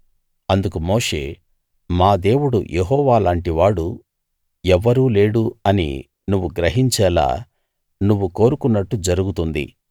అందుకు మోషే మా దేవుడు యెహోవా లాంటి వాడు ఎవ్వరూ లేడు అని నువ్వు గ్రహించేలా నువ్వు కోరుకున్నట్టు జరుగుతుంది